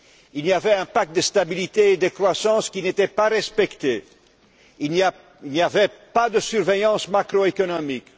Il y avait un pacte de stabilité et de croissance qui n'était pas respecté. Il n'y avait pas de surveillance macroéconomique.